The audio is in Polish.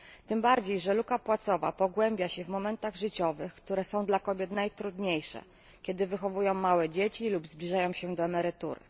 Tym bardziej że luka płacowa pogłębia się w momentach życiowych, które są dla kobiet najtrudniejsze kiedy wychowują małe dzieci lub zbliżają się do emerytury.